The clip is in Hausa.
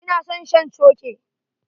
Ina son shan coke.